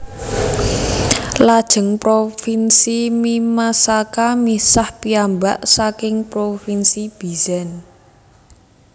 Lajeng Provinsi Mimasaka misah piyambak saking Provinsi Bizen